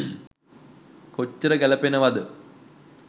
කොච්චර ගැලපෙනවද?